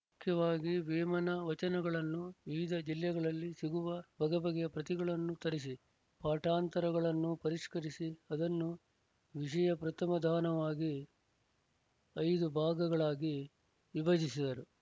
ಮುಖ್ಯವಾಗಿ ವೇಮನ ವಚನಗಳನ್ನು ವಿವಿಧ ಜಿಲ್ಲೆಗಳಲ್ಲಿ ಸಿಗುವ ಬಗೆಬಗೆಯ ಪ್ರತಿಗಳನ್ನು ತರಿಸಿ ಪಾಠಾಂತರಗಳನ್ನು ಪರಿಶ್ಕರಿಸಿ ಅದನ್ನು ವಿಶಯಪ್ರಥಮ ಧಾನವಾಗಿ ಐದು ಭಾಗಗಳಾಗಿ ವಿಭಜಿಸಿದರು